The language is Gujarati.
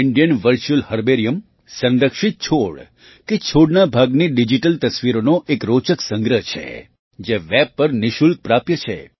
ઇન્ડિયન વર્ચ્યુઅલ હર્બેરિયમ સંરક્ષિત છોડ કે છોડના ભાગની ડિજિટલ તસવીરોનો એક રોચક સંગ્રહ છે જે વેબ પર નિઃશુલ્ક પ્રાપ્ય છે